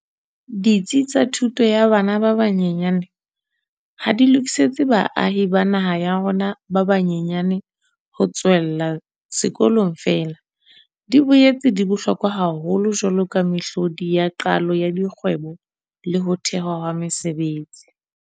Ditsi tsa thuto ya bana ba banyenyane ha di lokisetse baahi ba naha ya rona ba ba nyenyane ho tswella sekolong feela, di boetse di bohlokwa haholo jwaloka mehlodi ya qalo ya dikgwebo le ho thehwa ha mesebetsi.